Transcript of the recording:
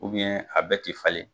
a bɛɛ tɛ falen.